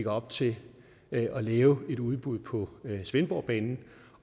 op til at lave et udbud på svendborgbanen